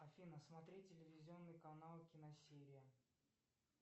афина смотреть телевизионный канал киносерия